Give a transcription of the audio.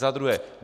Za druhé.